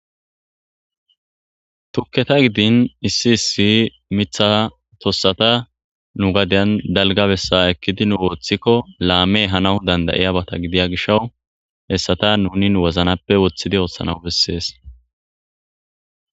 tukketa gidin issi issi mitha tossata nu gadiyan dalgabessa ekkidi nu ooththikko laame hanaw dandayiyabata gidiya gishawu hessata nuni woznappe woththidi oothshanaw bessees